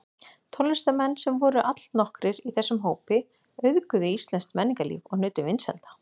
Tónlistarmenn, sem voru allnokkrir í þessum hópi, auðguðu íslenskt menningarlíf og nutu vinsælda.